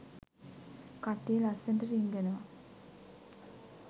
කට්ටිය ලස්සනට රිංගනව.